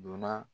Donna